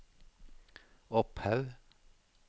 Opphaug